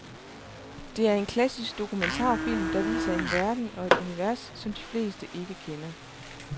Det er en klassisk dokumentarfilm, der viser en verden og et univers, som de fleste ikke kender.